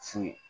Fu ye